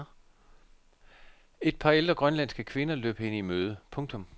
Et par ældre grønlandske kvinder løb hende i møde. punktum